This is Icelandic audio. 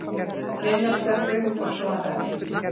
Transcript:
Lilla stökk upp og svaraði.